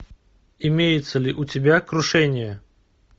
имеется ли у тебя крушение